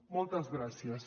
moltes gràcies